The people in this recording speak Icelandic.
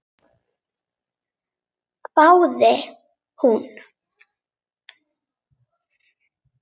hváði hún.